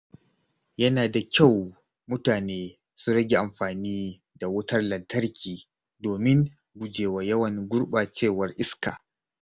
Yana da kyau mutane su rage amfani da wutar lantarki domin gujewa yawan gurɓacewar iska.